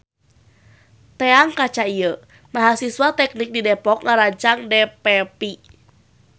Teang kaca ieu. Mahasiswa teknik di depok ngarancang dfv